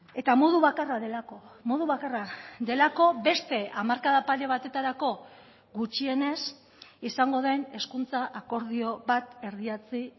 eta modu bakarra delako modu bakarra delako beste hamarkada pare batetarako gutxienez izango den hezkuntza akordio bat erdietsi